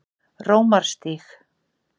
Rómarstíg